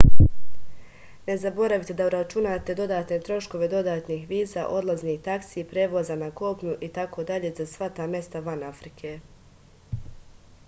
ne zaboravite da uračunate dodatne troškove dodatnih viza odlaznih taksi prevoza na kopnu itd za sva ta mesta van afrike